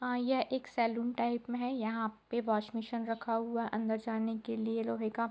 हां यह एक सैलून टाइप में है यहाँ पे वॉश रखा हुआ है अंदर जाने के लिए लोहे का --